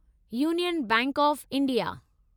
union Bank of India